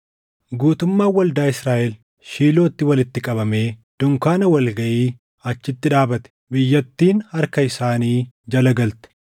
Guutummaan waldaa Israaʼel Shiilootti walitti qabamee dunkaana wal gaʼii achitti dhaabate. Biyyattiin harka isaanii jala galte;